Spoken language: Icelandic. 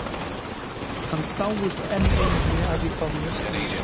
Hann dáist enn einu sinni að því hvað hún er skýr.